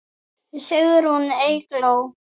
Sigrún Eygló.